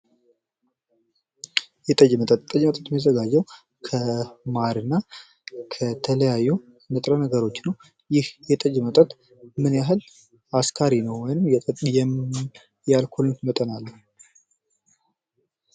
የጠጅ መጠጥ የሚዘጋጀው ከማርና ከተለያዩ ንጥረነገሮች ነው። ይህ የጠጅ መጠጥ ምን ያህል አስካሪ ነው? ወይም የአልኮል መጠን አለው?